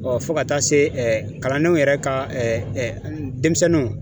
Ɔ fɔ ka taa se ɛ kalandenw yɛrɛ ka ɛ dɛnmisɛnnuw